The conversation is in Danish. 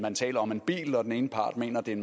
man taler om en bil og den ene part mener det er